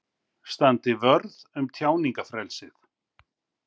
Standi vörð um tjáningarfrelsið